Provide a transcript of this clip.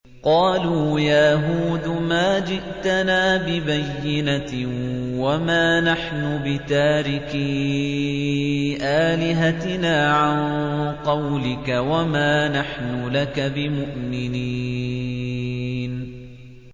قَالُوا يَا هُودُ مَا جِئْتَنَا بِبَيِّنَةٍ وَمَا نَحْنُ بِتَارِكِي آلِهَتِنَا عَن قَوْلِكَ وَمَا نَحْنُ لَكَ بِمُؤْمِنِينَ